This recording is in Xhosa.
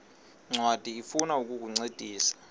ncwadi ifuna ukukuncedisa